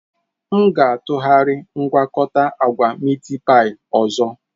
M ga-atụgharị mgwakota agwa Miitipai ọzọ.